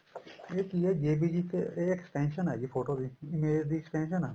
ਇਹ ਕੀ ਹੈ JPEG ਇੱਕ extension ਆ ਜੀ ਫੋਟੋ ਦੀ image ਦੀ extension ਆ